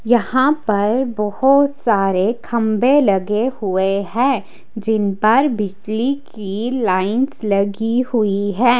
यहां पर बहोत सारे खंभे लगे हुए हैं जिनपर बिजली की लाइंस लगी हुई है।